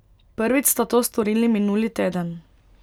Prvič sta to storili minuli teden.